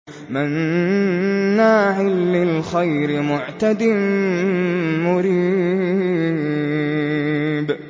مَّنَّاعٍ لِّلْخَيْرِ مُعْتَدٍ مُّرِيبٍ